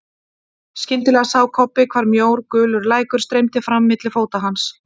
Skyndilega sá Kobbi hvar mjór gulur lækur streymdi fram milli fóta hans.